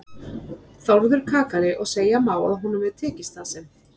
Þórður kakali og segja má að honum hafi tekist það sem